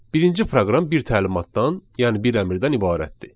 Birinci proqram bir təlimatdan, yəni bir əmrdən ibarətdir.